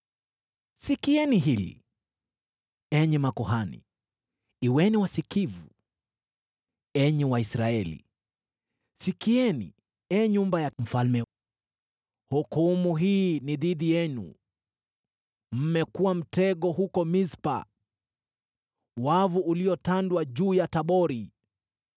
“Sikieni hili, enyi makuhani! Kuweni wasikivu, enyi Waisraeli! Sikieni, ee nyumba ya mfalme! Hukumu hii ni dhidi yenu: Mmekuwa mtego huko Mispa, wavu uliotandwa juu ya Tabori.